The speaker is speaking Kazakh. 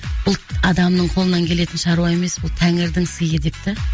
бұлт адамның қолынан келетін шаруа емес бұл тәңірдің сыйы деп та